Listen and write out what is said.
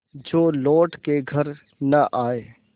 जो लौट के घर न आये